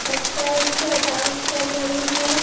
लगता है क्या डांस कर रही है।